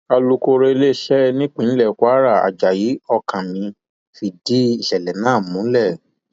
alūkọrọ iléeṣẹ nípínlẹ kwara ajayi ọkánmi fìdí ìṣẹlẹ náà múlẹ